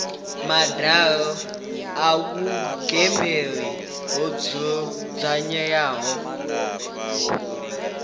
madalo a vhuingameli ho dzudzanywaho